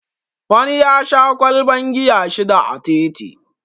Wani ya sha ƙwalban giya shida a titi